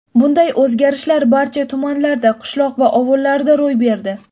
Bunday o‘zgarishlar barcha tumanlarda, qishloq va ovullarda ro‘y berdi.